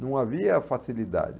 Não havia facilidade.